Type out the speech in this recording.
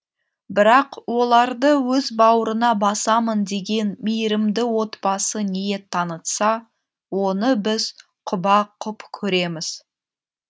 бірақ оларды өз бауырына басамын деген мейірімді отбасы ниет танытса оны біз құба құп көреміз